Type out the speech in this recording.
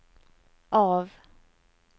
av